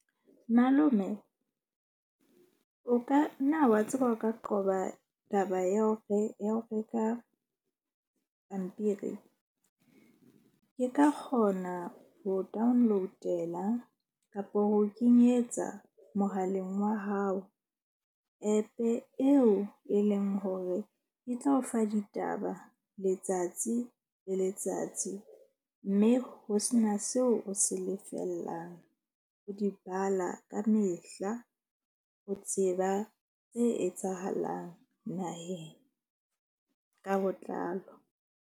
Malome o ka nna wa tseba o ka qoba taba ya hore ya ho reka pampiri. Ke ka kgona ho download-ela kapa ho kenyetsa mohaleng wa hao app-e eo e leng hore e tla o fa ditaba letsatsi le letsatsi. Mme ho sena seo o se lefellang ho di bala ka mehla, ho tseba tse etsahalang naheng ka botlalo.